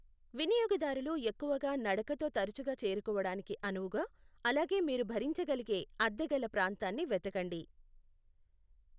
వినియోగదారులు ఎక్కువగా నడకతో తరచుగా చేరుకోవడానికి అనువుగా, అలాగే మీరు భరించగలిగే అద్దె గల ప్రాంతాన్ని వెతకండి.